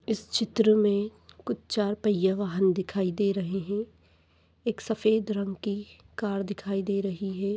इस चित्र मे कुछ चार पहिय्ये वाहन दिखाई दे रहे है एक सफ़ेद रंग की कार दिखाई दे रही है।